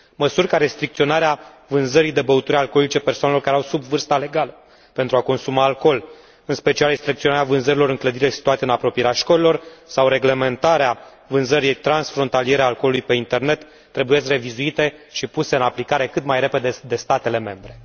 Măsuri ca restricționarea vânzării de băuturi alcoolice persoanelor care au sub vârsta legală pentru a consuma alcool, în special restricționarea vânzărilor în clădirile situate în apropierea școlilor sau reglementarea vânzării transfrontaliere a alcoolului pe internet trebuie revizuite și puse în aplicare cât mai repede de statele membre.